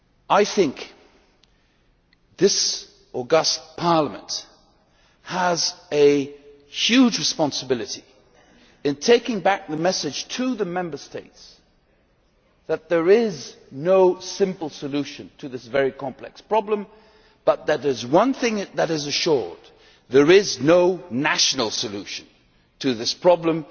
I think that this august Parliament has a huge responsibility in taking back the message to the Member States that there is no simple solution to this very complex problem but that there is one thing that is assured there is no national solution to this problem.